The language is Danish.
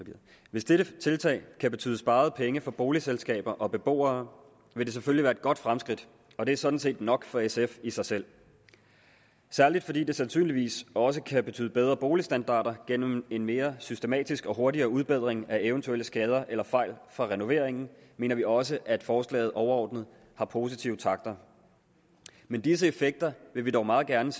hvis dette tiltag kan betyde sparede penge for boligselskaber og beboere vil det selvfølgelig være et godt fremskridt og det er sådan set nok for sf i sig selv særlig fordi det sandsynligvis også kan betyde bedre boligstandarder gennem en mere systematisk og hurtigere udbedring af eventuelle skader eller fejl fra renoveringen mener vi også at forslaget overordnet har positive takter men disse effekter vil vi dog meget gerne